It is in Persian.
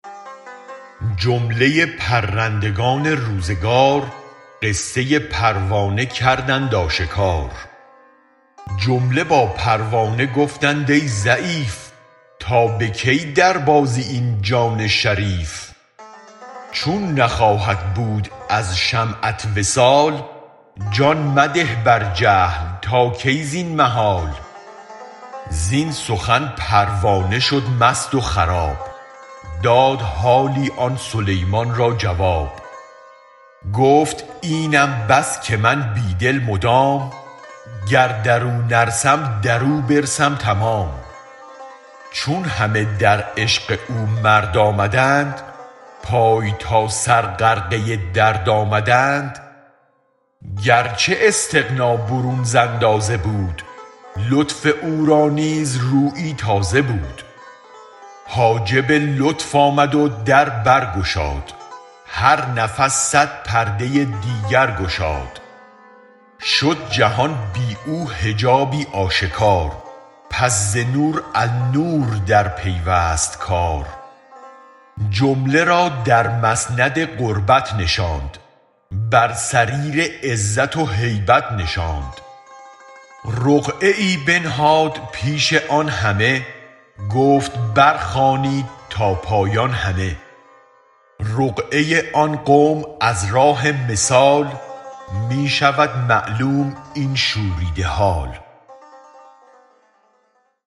جمله پرندگان روزگار قصه پروانه کردند آشکار جمله با پروانه گفتند ای ضعیف تا به کی در بازی این جان شریف چون نخواهد بود از شمعت وصال جان مده بر جهل تا کی زین محال زین سخن پروانه شد مست و خراب داد حالی آن سلیمان را جواب گفت اینم بس که من بی دل مدام گر درو نرسم درو برسم تمام چون همه در عشق او مرد آمدند پای تا سر غرقه درد آمدند گرچه استغنی برون ز اندازه بود لطف او را نیز رویی تازه بود حاجب لطف آمد و در برگشاد هر نفس صد پرده دیگر گشاد شد جهان بی او حجابی آشکار پس ز نور النور در پیوست کار جمله را در مسند قربت نشاند بر سریر عزت و هیبت نشاند رقعه بنهاد پیش آن همه گفت بر خوانید تا پایان همه رقعه آن قوم از راه مثال می شود معلوم این شوریده حال